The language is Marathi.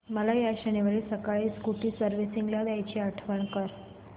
मला या शनिवारी सकाळी स्कूटी सर्व्हिसिंगला द्यायची आठवण कर